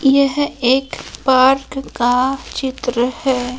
यह एक पार्क का चित्र है।